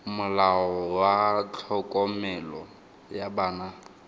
molao wa tlhokomelo ya bana